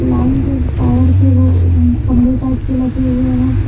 Line के power के वो खंभे टाइप के के लगे हुए हैं।